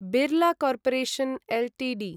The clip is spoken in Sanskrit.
Birla corporation Ltd